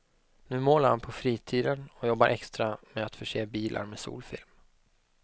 Nu målar han på fritiden och jobbar extra med att förse bilar med solfilm.